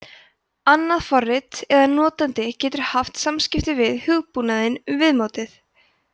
annað forrit eða notandi getur haft samskipti við hugbúnaðinn um viðmótið